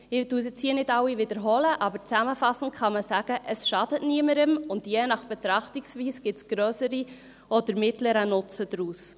Ich wiederhole diese hier nicht alle, aber zusammenfassend kann man sagen: Es schadet niemandem, und je nach Betrachtungsweise gibt es einen grösseren oder mittleren Nutzen daraus.